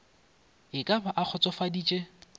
e ka ba a kgotsofaditše